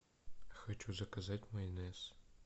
хочу заказать майонез